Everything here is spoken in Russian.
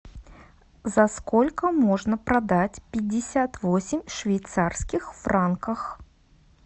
за сколько можно продать пятьдесят восемь швейцарских франках